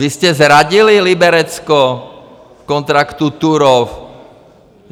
Vy jste zradili Liberecko v kontraktu Turów.